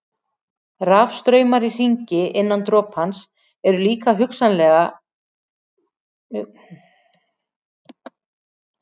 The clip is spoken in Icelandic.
Rafstraumar í hringi innan dropans eru líka hugsanlegir við sérstakar aðstæður.